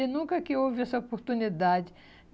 E nunca que houve essa oportunidade.